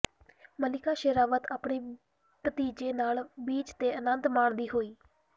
ਮਲਿਕਾ ਸ਼ੇਰਾਵਤ ਆਪਣੇ ਭਤੀਜੇ ਨਾਲ ਬੀਚ ਤੇ ਆਨੰਦ ਮਾਣਦੀ ਹੋਈ